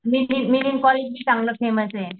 college बी चांगलं फेमसे